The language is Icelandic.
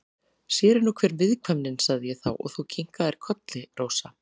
Sér er nú hver viðkvæmnin, sagði ég þá og þú kinkaðir kolli, Rósa.